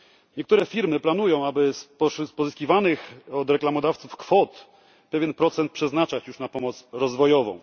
Niektóre firmy planują, aby z pozyskiwanych od reklamodawców kwot pewien procent przeznaczać już na pomoc rozwojową.